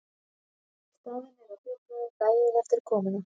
Staðnir að þjófnaði daginn eftir komuna